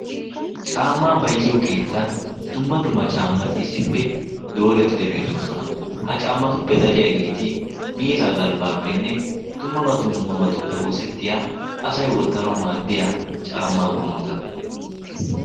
Caammaa bayzziyo keettan dumma dumma caammati issippe doorettidi beettoosona. Ha caammatuppe dariyaageeti miizaa galbbaappenne dumma dummabatuppe oosettiya asay wottanawu maaddiya caammaa qummota.